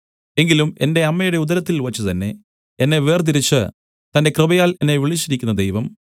എങ്കിലും എന്റെ അമ്മയുടെ ഉദരത്തിൽവച്ചു തന്നെ എന്നെ വേർതിരിച്ച് തന്റെ കൃപയാൽ എന്നെ വിളിച്ചിരിക്കുന്ന ദൈവം